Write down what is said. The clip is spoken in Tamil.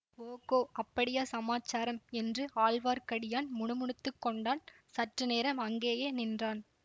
ஓகோ அப்படியா சமாசாரம் என்று ஆழ்வார்க்கடியான் முணுமுணுத்து கொண்டான் சற்று நேரம் அங்கேயே நின்றான்